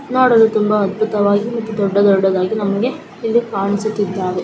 ನೋಡಲು ತುಂಬಾ ಅದ್ಭೂತವಾಗಿ ದೊಡ್ಡ ದೊಡ್ಡದ್ದಾಗಿ ನಮಗೆ ಕಾಣುಸಿತ್ತಿದ್ದಾವೆ--